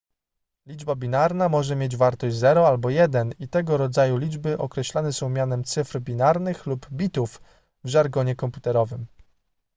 liczba binarna może mieć wartość 0 albo 1 i tego rodzaju liczby określane są mianem cyfr binarnych lub bitów w żargonie komputerowym